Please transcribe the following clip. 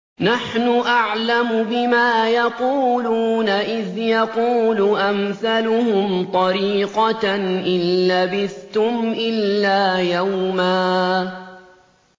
نَّحْنُ أَعْلَمُ بِمَا يَقُولُونَ إِذْ يَقُولُ أَمْثَلُهُمْ طَرِيقَةً إِن لَّبِثْتُمْ إِلَّا يَوْمًا